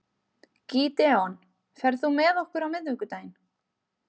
Gídeon, ferð þú með okkur á miðvikudaginn?